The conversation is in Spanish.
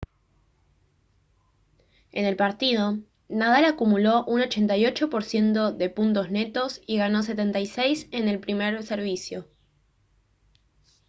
en el partido nadal acumuló un 88% de puntos netos y ganó 76 en el primer servicio